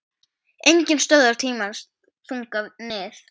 Enginn stöðvar tímans þunga nið